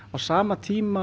á sama tíma